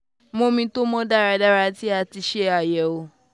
mu omi to mọ daradara ti a ti ṣe àyẹ̀wọ̀